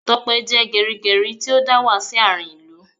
Tope jẹ́ gerigeri tí ó dà wá sí àárín ìlú